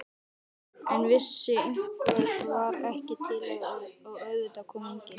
En þessi einhver var ekki til og auðvitað kom enginn.